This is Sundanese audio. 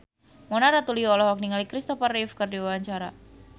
Mona Ratuliu olohok ningali Christopher Reeve keur diwawancara